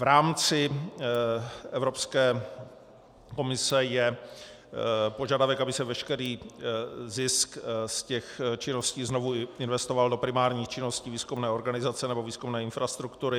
V rámci Evropské komise je požadavek, aby se veškerý zisk z těch činností znovu investoval do primárních činností výzkumné organizace nebo výzkumné infrastruktury.